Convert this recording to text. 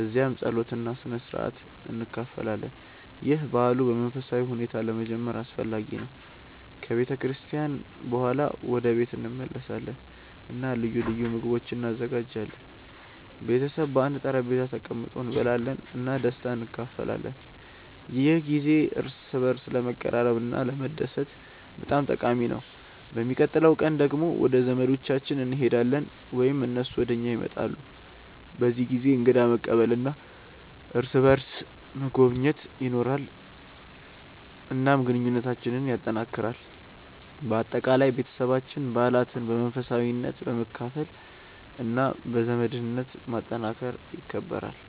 እዚያም ጸሎት እና ስነ-ሥርዓት እንካፈላለን። ይህ በዓሉን በመንፈሳዊ ሁኔታ ለመጀመር አስፈላጊ ነው። ከቤተ ክርስቲያን በኋላ ወደ ቤት እንመለሳለን እና ልዩ ልዩ ምግቦች እንዘጋጃለን። ቤተሰብ በአንድ ጠረጴዛ ተቀምጦ እንበላለን እና ደስታን እንካፈላለን። ይህ ጊዜ እርስ በርስ ለመቀራረብ እና ለመደሰት በጣም ጠቃሚ ነው። በሚቀጥለው ቀን ደግሞ ወደ ዘመዶቻችን እንሄዳለን ወይም እነሱ ወደ እኛ ይመጣሉ። በዚህ ጊዜ እንግዳ መቀበል እና እርስ በርስ መጎብኘት ይኖራል፣ እናም ግንኙነታችንን ያጠናክራል። በአጠቃላይ፣ ቤተሰባችን በዓላትን በመንፈሳዊነት፣ በመካፈል እና በዘመድነት ማጠናከር ይከብራል።